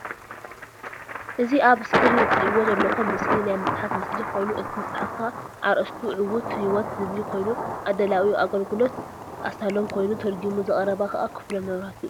እዚ ኣብ እስክሪን እትሪእዎ ዘለኩም ምስሊ ናይ መፅሓፍ ምስሊ ኮይኑ እቲ መፅሓፍ ከዓ ኣርእስቱ ዕዉት ህይወት ዝብል ኮይኑ ኣዳላዊኡ ኣገልግሎት ኣሳሎም ኮይኑ ተርጊሙ ዘቅረባ ከዓ ክፍሎም መብራህቱ እዩ።